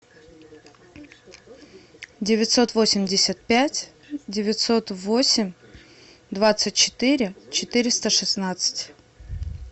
девятьсот восемьдесят пять девятьсот восемь двадцать четыре четыреста шестнадцать